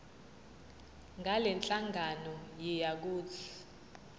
ngalenhlangano yiya kut